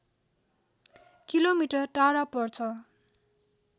kilometre टाढा पर्छ